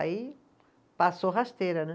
Aí passou rasteira, né?